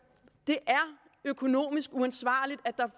det er økonomisk uansvarligt at der